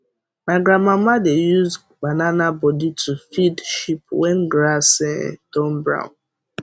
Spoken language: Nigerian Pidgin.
my grandmama dey use banana body to feed sheep when grass um turn brown